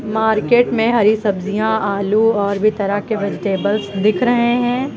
Market में हरी सब्जियां आलू और भी तरह के वेजिटेबल्स दिख रहे हैं।